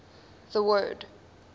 the word